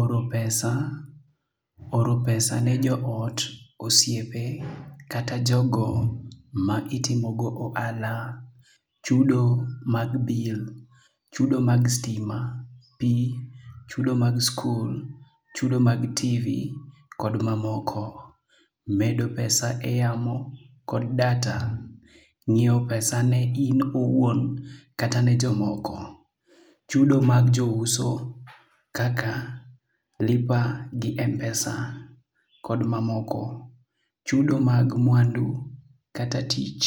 Oro pesa, oro pesa ne jo ot, osiepe, kata jogo ma itimogo ohala, chudo mag bill, chudo mag stima, pi, chudo mag skul, chudo mag TV, kod mamoko. Medo pesa e yamo kod data, ng'iewo pesa ne in owuon kata ne jomoko. Chudo mag jouso kaka Lipa gi Mpesa kod mamoko. Chudo mag mwandu kata tich